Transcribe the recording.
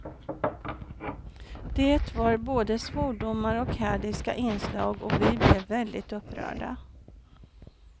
Det var både svordomar och hädiska inslag och vi blev väldigt upprörda.